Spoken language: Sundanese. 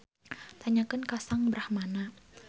Tanyakeun ka Sang Brahmana